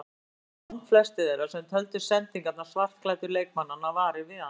Aftur á móti urðu langflestir þeirra sem töldu sendingar svartklæddu leikmannanna varir við hana.